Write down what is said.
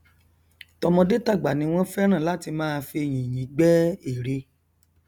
tọmọdé tàgbà ni wọn fẹràn láti máa fi yìnyín gbẹ ère